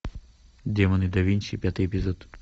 демоны да винчи пятый эпизод